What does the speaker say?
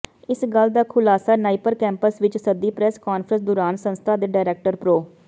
ਇਸ ਗੱਲ ਦਾ ਖੁਲਾਸਾ ਨਾਈਪਰ ਕੈਂਪਸ ਵਿੱਚ ਸੱਦੀ ਪ੍ਰੈਸ ਕਾਨਫਰੰਸ ਦੌਰਾਨ ਸੰਸਥਾ ਦੇ ਡਾਇਰੈਕਟਰ ਪ੍ਰੋ